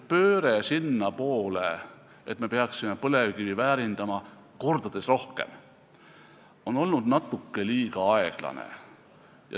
Pööre sinnapoole, et me peaksime põlevkivi mitu korda rohkem väärindama, on olnud natuke liiga aeglane.